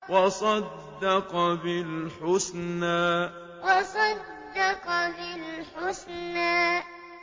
وَصَدَّقَ بِالْحُسْنَىٰ وَصَدَّقَ بِالْحُسْنَىٰ